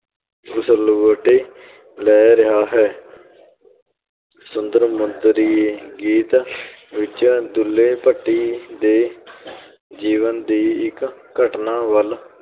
ਉਸਲਵੱਟੇ ਲੈ ਰਿਹਾ ਹੈ ਸੁੰਦਰ ਮੁੰਦਰੀਏ ਗੀਤ ਵਿੱਚ ਦੁੱਲ੍ਹੇ ਭੱਟੀ ਦੇ ਜੀਵਨ ਦੀ ਇੱਕ ਘਟਨਾ ਵੱਲ